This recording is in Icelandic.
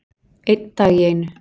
Einn dag í einu